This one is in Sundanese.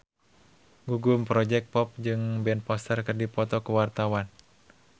Gugum Project Pop jeung Ben Foster keur dipoto ku wartawan